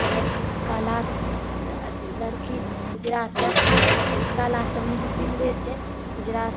ल काला अथी लड़की उजरा शर्ट काला समीज पिन्हले छै उजरा --